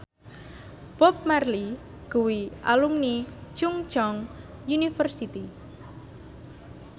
Bob Marley kuwi alumni Chungceong University